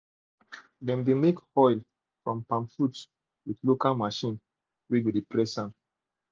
dem de make oil from palm fruit with local machine wey de press am